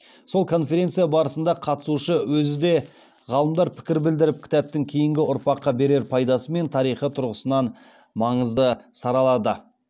сол конференция барысында қатысушы өзі де ғалымдар пікір білдіріп кітаптың кейінгі ұрпаққа берер пайдасы мен тарихы тұрғысынан маңызды саралады